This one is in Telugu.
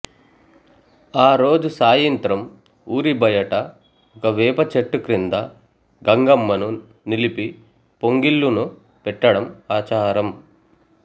ఆ రోజు సాయింత్రం ఊరి బయట ఒక వేప చెట్టు క్రింద గంగమ్మను నిలిపి పొంగిళ్లును పెట్టడం ఆచారం